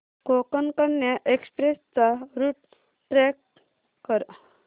Konkan Kanya express चा route track कर